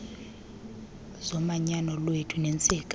zomanyano lwethu neentsika